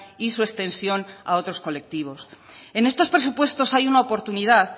y su extensión a otros colectivos en estos presupuestos hay una oportunidad